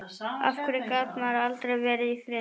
Af hverju gat maður aldrei verið í friði?